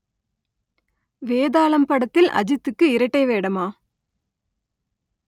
வேதாளம் படத்தில் அஜித்துக்கு இரட்டை வேடமா